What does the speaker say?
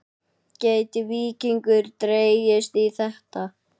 Gæti Víkingur dregist í þetta?